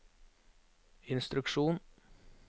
instruksjon